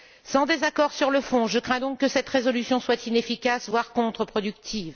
Sans désaccord sur le fond, je crains donc que cette résolution soit inefficace, voire contreproductive.